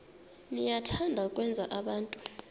niyathanda ukwenza abantu